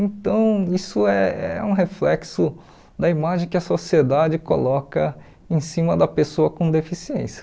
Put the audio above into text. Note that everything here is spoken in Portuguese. Então, isso é é um reflexo da imagem que a sociedade coloca em cima da pessoa com deficiência.